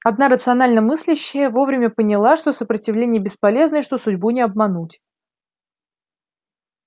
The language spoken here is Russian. одна рационально мыслящая вовремя поняла что сопротивление бесполезно и что судьбу не обмануть